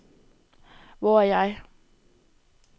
Hvor er jeg